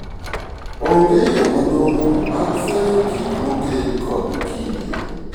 Onge yoo malong'o mag fwenyo gik mokel kod kinde